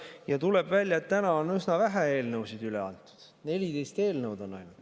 Ja tuleb välja, et täna on üsna vähe eelnõusid üle antud: 14 eelnõu ainult.